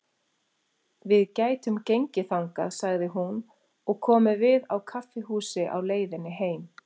Við gætum gengið þangað, sagði hún, og komið við á kaffihúsi á leiðinni heim.